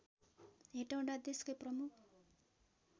हेटौँडा देशकै प्रमुख